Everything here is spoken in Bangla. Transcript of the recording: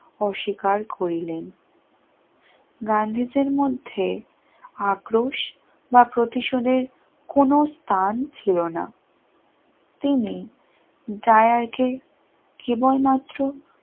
অস্বীকার করিলেন গান্ধীদের মধ্যে আক্রোশ বা প্রতিশোধের কোন স্থান ছিল না তিনি জায়ার কে কেবলমাত্র